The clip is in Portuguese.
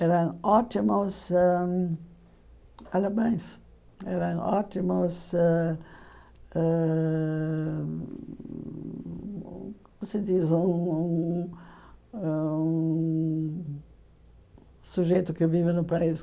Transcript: eram ótimos ãhum alamães, eram ótimos ãhum... Como se diz um um ãh um sujeito que vive no país?